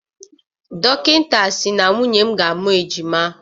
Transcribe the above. Dọkịta sị na nwunye m ga-amụ ejima.